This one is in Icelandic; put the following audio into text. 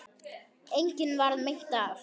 Engum varð meint af.